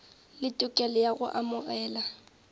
le tokelo ya go amogela